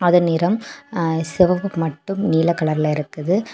இந்த நிறம் ஹ செவப்பு மட்டும் நீல கலர் இருக்குது.